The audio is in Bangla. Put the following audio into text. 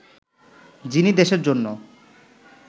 যিনি দেশের জন্য